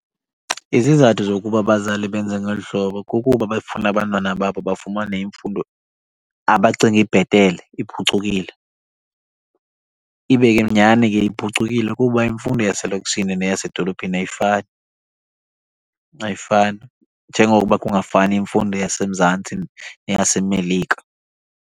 Izizathu zokuba abazali benze ngolu hlobo kukuba befuna abantwana babo bafumane imfundo abacinga ibhetele iphucukile. Ibe ke nyhani ke iphucukile kuba imfundo yaselokishini neyasedolophini ayifani, ayifani. Njengokuba kungafani imfundo yaseMzantsi neyaseMelika.